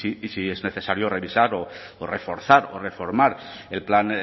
y si es necesario revisar o reforzar o reformar el plan